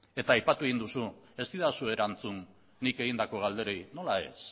eta aipatu egin duzu ez didazu erantzun nik egindako galderei nola ez